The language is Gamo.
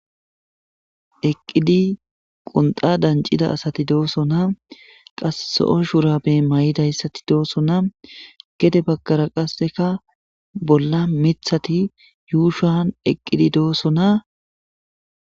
Eqidi qunxa danciza asati dosona qase zo'o shurabe maidayisti deosona gede bagara qaseka bola mitati ushuan eqidi deosona.